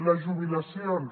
les jubilacions